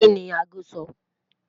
Kini àágò sọ?